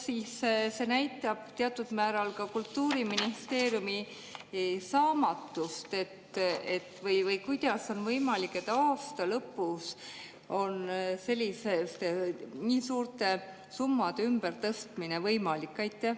Kas see näitab teatud määral Kultuuriministeeriumi saamatust või kuidas on võimalik, et aasta lõpus on nii suurte summade ümbertõstmine võimalik?